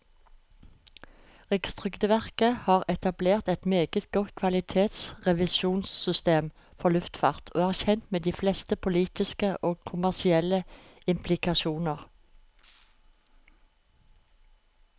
Rikstrygdeverket har etablert et meget godt kvalitetsrevisjonssystem for luftfart, og er kjent med de fleste politiske og kommersielle implikasjoner.